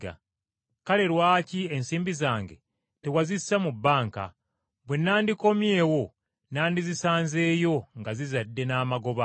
kale, lwaki ensimbi zange tewazissa mu banka, bwe nandikomyewo nandizisanzeeyo nga zizadde n’amagoba?’